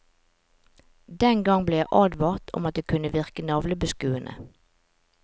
Den gang ble jeg advart om at det kunne virke navlebeskuende.